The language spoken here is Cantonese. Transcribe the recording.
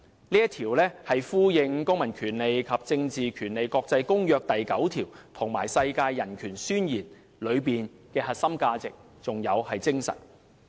"這一條也呼應《公民權利和政治權利國際公約》第九條，以及《世界人權宣言》的核心價值和精神。